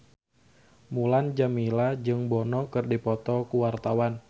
Mulan Jameela jeung Bono keur dipoto ku wartawan